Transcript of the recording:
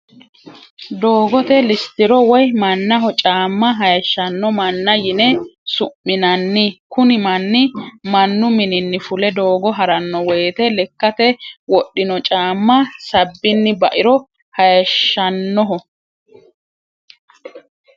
Doogote lisitiro woyi manaho caama hayishano mana yine su'minanni, kuni mani manu minini fule doogo harano woyite lekkate wodhino caama sabini bairo hayishanoho